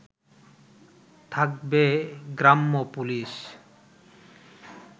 থাকবে গ্রাম্য পুলিশ